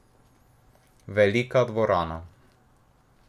Velika dvorana.